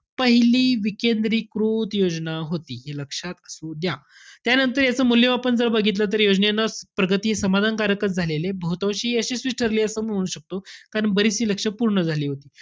पहिली विकेंद्रिकृत योजना होती. हे लक्षात असू द्या. त्यानंतर याचं मूल्यमापन जर बघितलं तर योजनेला प्रगती समाधानकारकच झालेलीय. बहुतांशी यशस्वीच ठरलेलीय असं पण म्हणू शकतो. कारण बरीचशी लक्ष्य पूर्ण झालेली होती.